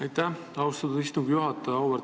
Aitäh, austatud istungi juhataja!